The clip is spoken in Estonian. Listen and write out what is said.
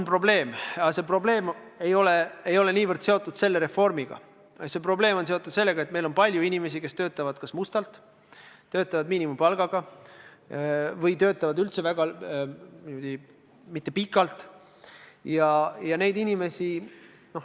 Probleem on olemas, aga see probleem ei ole seotud mitte niivõrd reformiga, vaid see probleem on seotud sellega, et meil on palju inimesi, kes töötavad kas mustalt, töötavad miinimumpalga eest või töötavad üldse väga lühikest aega.